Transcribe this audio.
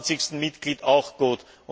27. Mitglied auch gut.